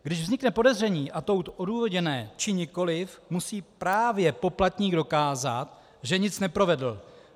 Když vznikne podezření, ať už odůvodněné, či nikoliv, musí právě poplatník dokázat, že nic neprovedl.